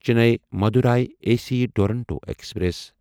Chennai Madurai A C Duronto express